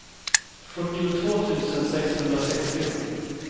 fyrtiotvå tusen sexhundrasextio